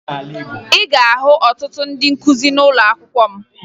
Ị ga-ahụ ọtụtụ ndị nkụzi n'ụlọakwụkwọ m